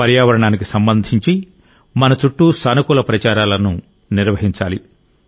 పర్యావరణానికి సంబంధించి మన చుట్టూ సానుకూల ప్రచారాలను నిర్వహించాలి